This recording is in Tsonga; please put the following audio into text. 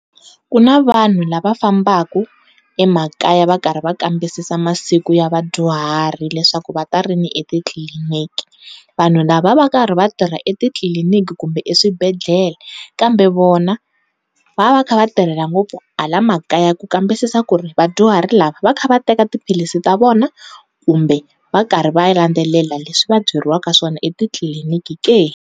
Ku na vanhu lava fambaku emakaya va karhi va kambisisa masiku ya vadyuhari leswaku va ta rini etitliliniki vanhu lava va va karhi va tirha etitliliniki kumbe exibedhlele kambe, vona va va va karhi va tirhela ngopfu hala makaya ku kambisisa ku ri vadyuhari lava va kha va teka tiphilisi ta vona kumbe va karhi va landelela leswi va byeriwaka swona etitliliniki ke.